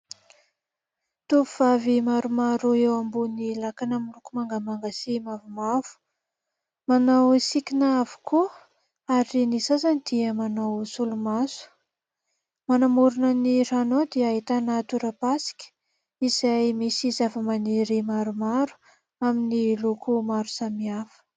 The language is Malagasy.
Tovovavy maromaro, eo ambony lakana miloko mangamanga sy mavomavo ; manao sikina avokoa, ary ny sasany dia manao solomaso. Manamorona ny rano dia ahitana torapasika, izay misy zavamaniry maromaro, amin'ny loko maro samihafa.